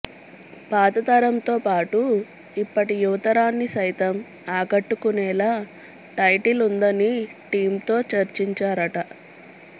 పాతతరంతో పాటు ఇప్పటి యువతరాన్ని సైతం ఆకట్టుకునేలా టైటిల్ ఉందని టీమ్తో చర్చించారట